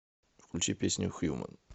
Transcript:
включи песню хьюман